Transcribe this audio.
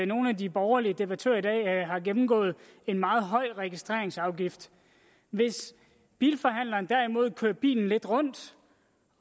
nogle af de borgerlige debattører i dag har gennemgået en meget høj registreringsafgift hvis bilforhandleren derimod kørte bilen lidt rundt